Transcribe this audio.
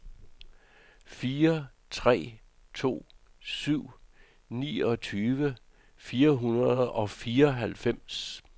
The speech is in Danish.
fire tre to syv niogtyve fire hundrede og fireoghalvfems